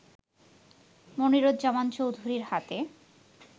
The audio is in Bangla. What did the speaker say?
মনিরুজ্জামান চৌধুরীর হাতে